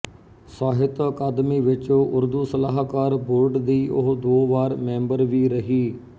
ਸਾਹਿਤ ਅਕਾਦਮੀ ਵਿੱਚ ਉਰਦੂ ਸਲਾਹਕਾਰ ਬੋਰਡ ਦੀ ਉਹ ਦੋ ਵਾਰ ਮੈਂਬਰ ਵੀ ਰਹੀ